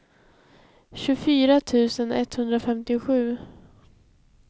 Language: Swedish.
tjugofyra tusen etthundrafemtiosju